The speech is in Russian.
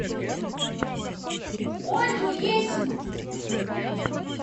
ольгу есину